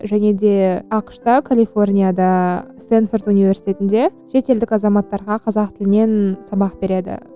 және де ақш та калифорнияда стэнфорд университетінде шетелдік азаматтарға қазақ тілінен сабақ береді